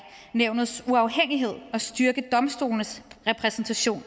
nævnets uafhængighed og styrke domstolenes repræsentation